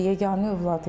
Yeganə övlad idi.